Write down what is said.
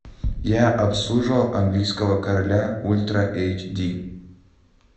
я обслуживал английского короля ультра эйч ди